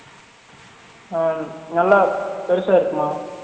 On நல்லா பேருசா இருக்குமா?